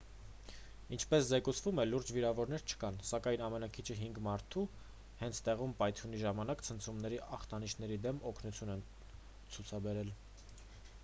ինչպես զեկուցվում է լուրջ վիրավորներ չկան սակայն ամենաքիչը հինգ մարդու հենց տեղում պայթյունի ժամանակ ցնցումների ախտանիշների դեմ օգնություն են ցացուցաբերել